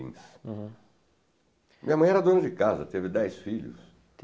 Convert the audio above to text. Minha mãe era dona de casa, teve dez filhos.